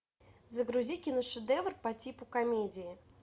загрузи киношедевр по типу комедии